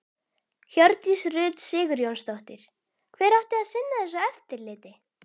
Hjördís Rut Sigurjónsdóttir: Hver átti að sinna þessu eftirliti?